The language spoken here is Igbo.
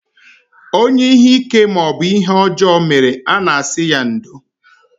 Onye ihe ike maọbụ ihe ọjọọ mere, a na-asị ya ndo